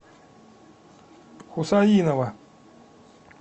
хусаинова